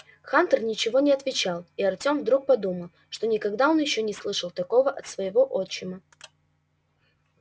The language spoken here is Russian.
хантер ничего не отвечал и артем вдруг подумал что никогда он ещё не слышал такого от своего отчима